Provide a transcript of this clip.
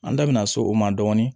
An da bina so o ma dɔɔnin